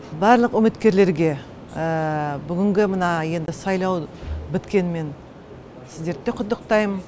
барлық үміткерлерге бүгінгі мына енді сайлау біткенімен сіздерді де құттықтаймын